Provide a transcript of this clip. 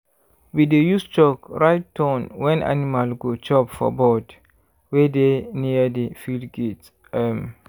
we dey use chalk write turn wen animal go chop for board wey dey near the field gate. um